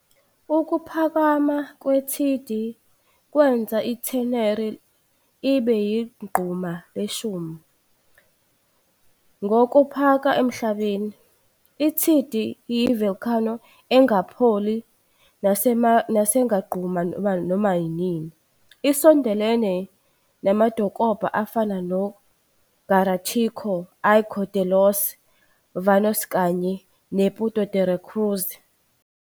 Ukuphakama kweThidi kwenza iTheneri ibe yigquma leshumi ngokokuphaka emhlabeni. i-Thidi iyi volcano engakapholi nesangaqhuma noma yinini. Isondelene namadokobha afana no Garachico, Icod de los Vinos kanye ne Puerto de la Cruz.